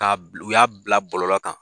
Ka u ya bila bɔlɔlɔ kan.